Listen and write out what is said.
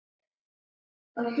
Hann kímdi.